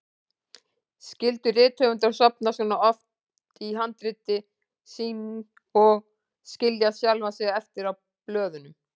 Skyldu rithöfundar sofna svona ofan í handrit sín og skilja sjálfa sig eftir á blöðunum?